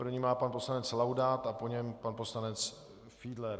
První má pan poslanec Laudát a po něm pan poslanec Fiedler.